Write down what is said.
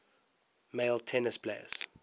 male tennis players